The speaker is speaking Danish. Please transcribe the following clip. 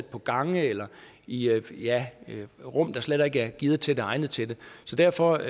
på gangene eller i rum der slet ikke er gearet til det eller egnet til det så derfor